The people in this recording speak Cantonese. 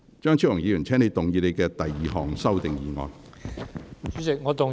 張超雄議員，請動議你的第二項修訂議案。